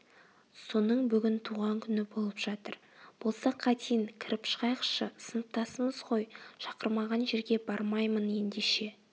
соның бүгін туған күні болып жатыр болса қайтейін кіріп шығайықшы сыныптасымыз ғой шақырмаған жерге бармаймын ендеше